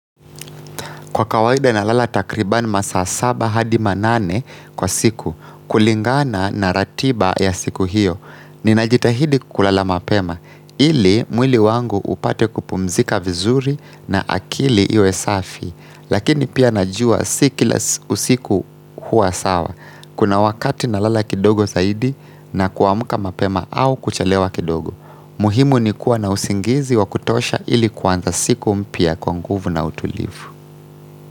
Kwa kawaida na lala takribani masaa saba hadi manane kwa siku, kulingana na ratiba ya siku hiyo, ninajitahidi kulala mapema, ili mwili wangu upate kupumzika vizuri na akili iwe safi, lakini pia najua si kila usiku hua sawa, kuna wakati na lala kidogo zaidi na kuamka mapema au kuchelewa kidogo. Muhimu ni kuwa na usingizi wa kutosha ili kuanza siku mpya kwa nguvu na utulivu.